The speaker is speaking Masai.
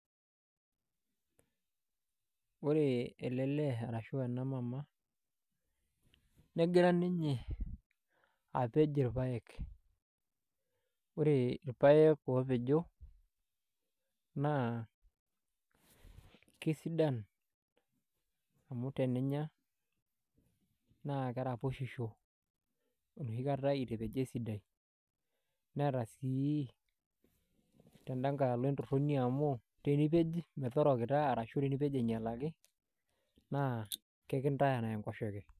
Ore ele lee arashu ena mama negira ninye apej irpaek, ore irpaek oopejo naa kesidan amu teninya naa keraposhisho enoshi kata itapejo esidai neeta sii tenda nkae alo entorroni amu tenipej metorokita naa ekintaya enkoshoke.